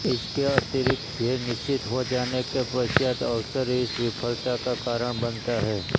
इसके अतिरिक्त ध्येय निश्चित हो जाने के पश्चात अवसर इस विफलता का कारण बनता है